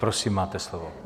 Prosím, máte slovo.